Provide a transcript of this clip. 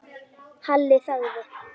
Halli þagði.